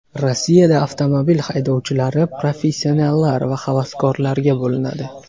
Rossiyada avtomobil haydovchilari professionallar va havaskorlarga bo‘linadi.